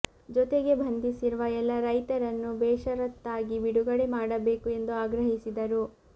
ಜೊತೆಗೆ ಬಂಧಿಸಿರುವ ಎಲ್ಲ ರೈತರನ್ನು ಬೇಷರತ್ತಾಗಿ ಬಿಡುಗಡೆ ಮಾಡಬೇಕು ಎಂದು ಆಗ್ರಹಿಸಿದರು